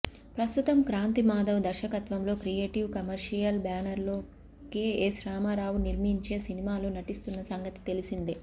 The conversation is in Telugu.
ప్రస్తుతం క్రాంతి మాధవ్ దర్శకత్వంలో క్రియేటివ్ కమర్షియల్ బ్యానర్లో కేఎస్ రామారావు నిర్మించే సినిమాలో నటిస్తున్న సంగతి తెలిసిందే